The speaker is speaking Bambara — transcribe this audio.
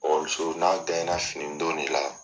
n'a finidon de la.